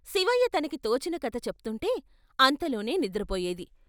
శివయ్య తనకి తోచిన కథ చెప్తుంటే అంతలోనే నిద్రపోయేది.